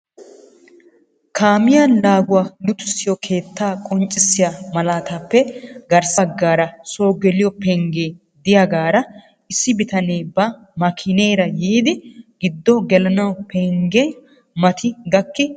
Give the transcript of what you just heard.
Kaamiya laaguwaa luxissiyo keettaa qonccissiya malaatappe garssa baggaara so geliyoo pengge de'iyaagaara issi bitanee ba makineera yiidi giddo gelanaw penggiya mati gakki uttiis.